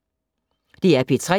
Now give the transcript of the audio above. DR P3